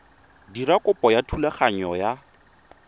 dira kopo ya thulaganyo ya